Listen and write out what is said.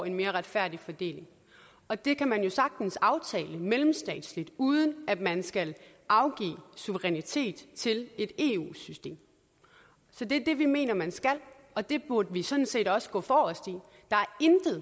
en mere retfærdig fordeling og det kan man jo sagtens aftale mellemstatsligt uden at man skal afgive suverænitet til et eu system så det er det vi mener at man skal og det burde vi sådan set også gå forrest i der er